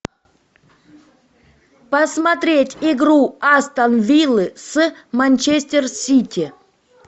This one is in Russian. посмотреть игру астон виллы с манчестер сити